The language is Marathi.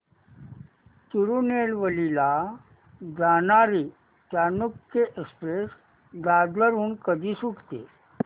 तिरूनेलवेली ला जाणारी चालुक्य एक्सप्रेस दादर हून कधी सुटते